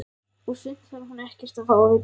Og sumt þarf hún ekkert að fá að vita.